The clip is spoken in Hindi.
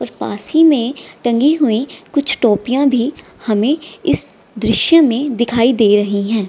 और पास ही में टंगी हुई कुछ टोपियां भी हमे इस दृश्य में दिखाई दे रही है।